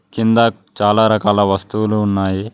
కింద చాలా రకాల వస్తువులు ఉన్నాయి.